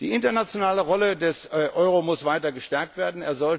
Die internationale Rolle des Euro muss weiter gestärkt